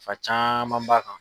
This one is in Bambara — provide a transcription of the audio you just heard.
fa caman b'a kan.